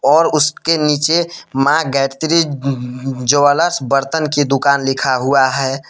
और उसके नीचे मां गायत्री अह ज्वेलर्स बर्तन की दुकान लिखा हुआ है।